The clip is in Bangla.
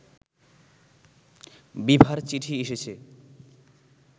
বিভার চিঠি এসেছে